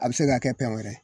A bɛ se ka kɛ pɛn wɛrɛ